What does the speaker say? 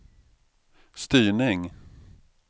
styrning